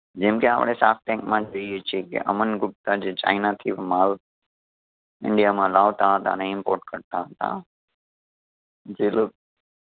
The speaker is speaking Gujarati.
જેમકે આપણે shark tank માં જોઈએ છીએ કે અમન ગુપ્તા જે ચાઇના થી માલ લાવતા હતા અને import કરતાં હતા જે લો